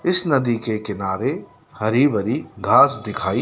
इस नदी के किनारे हरी भरी घास दिखाई--